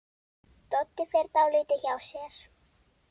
Doddi fer dálítið hjá sér.